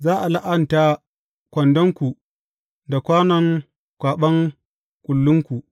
Za a la’anta kwandonku da kwanon kwaɓan kullunku.